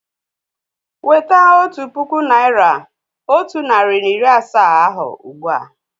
Weta otu puku naị́ra otu narị na iri asaa ahụ ugbu a!